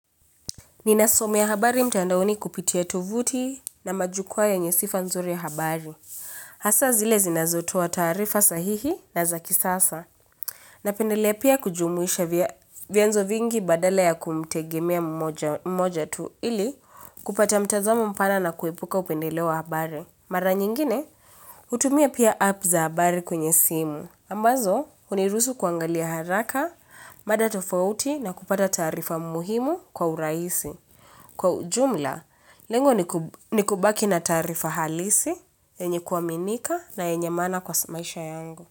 Ninasomea habari mtandaoni kupitia tovuti na majukuwa yenye sifa nzuri ya habari. Hasa zile zinazotoa tarifa sahihi na za kisasa. Napendelea pia kujumuisha vyanzo vingi badala ya kumtegemea mmoja tu ili kupata mtazamo mpana na kuepuka upendeleo wa habari. Mara nyingine, hutumia pia app za habari kwenye simu. Ambazo, hunirusu kuangalia haraka, mada tofauti na kupata taarifa muhimu kwa urahisi. Kwa ujumla, lengo ni kubaki na taarifa halisi enye kuaminika na enye maana kwa maisha yangu.